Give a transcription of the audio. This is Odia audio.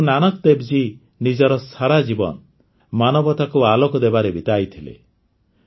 ଗୁରୁ ନାନକଦେବ ଜୀ ନିଜର ସାରାଜୀବନ ମାନବତାକୁ ଆଲୋକ ଦେବାରେ ବିତାଇଦେଲେ